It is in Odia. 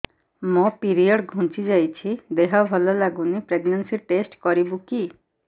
ମୋ ପିରିଅଡ଼ ଘୁଞ୍ଚି ଯାଇଛି ଦେହ ଭଲ ଲାଗୁନି ପ୍ରେଗ୍ନନ୍ସି ଟେଷ୍ଟ କରିବୁ କି